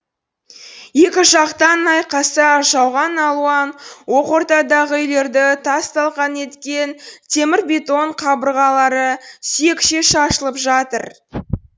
екі жақтан айқаса жауған алуан оқ ортадағы үйлерді тас талқан еткен темір бетон қабырғалары сүйекше шашылып жатыр